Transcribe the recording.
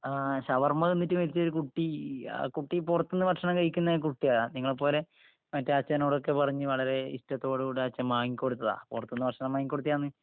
ആ... ഷവർമ തിന്നിട്ട് മരിച്ച ഒരു കുട്ടി... ആ കുട്ടി പുറത്ത് ന് ഭക്ഷണം കഴിക്കുന്ന ഒരു കുട്ടിയാ, നിങ്ങളെപ്പോലെ. മറ്റേ അച്ഛനോടൊക്കെ പറഞ്ഞ് വളരെ ഇഷ്ടത്തോടു കൂടെ അച്ഛൻ വാങ്ങിക്കൊടുത്തതാ.. പുറത്ത് ന്ന് ഭക്ഷണം വാങ്ങി കൊടുത്തയാന്ന്.